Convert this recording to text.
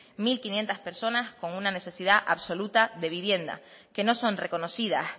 mil quinientos personas con una necesidad absoluta de vivienda que no son reconocidas